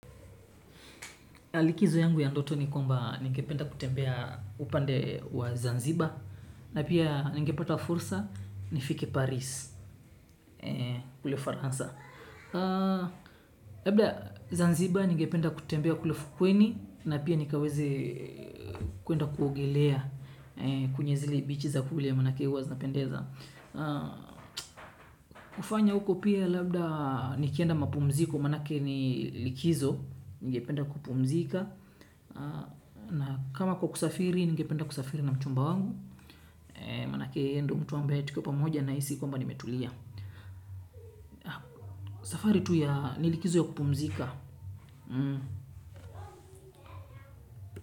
Likizo yangu ya ndoto ni kwamba ningependa kutembea upande wa Zanziba. Na pia ningepata fursa, nifike Paris, kule Faransa. Labda Zanziba ningependa kutembea kule fukweni, na pia nikaweze kwenda kuogelea kwenye zile bichi za kule maanake huwa zinapendeza. Hufanya huko pia labda nikienda mapumziko, maanake ni likizo, ningependa kupumzika. Na kama kwa kusafiri, ningependa kusafiri na mchumba wangu. Maanake, yeye ndiye mtu ambaye, tukiwa pamoja nahisi kwamba nimetulia. Safari tu ya, ni likizo ya kupumzika.